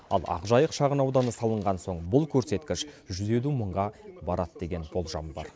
ал ақжайық шағын ауданы салынған соң бұл көрсеткіш жүз елу мыңға барады деген болжам бар